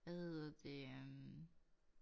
Hvad hedder det øh